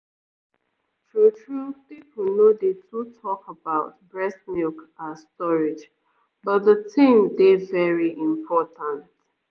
true-true people no dey too talk about breast milk ah storage but the thing dey very important